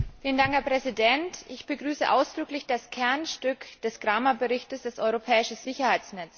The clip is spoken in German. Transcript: Herr Präsident! Ich begrüße ausdrücklich das Kernstück des Kramer Berichts, das europäische Sicherheitsnetz.